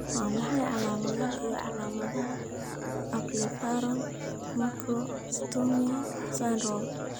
Waa maxay calaamadaha iyo calaamadaha Ablepharon macrostomia syndrome?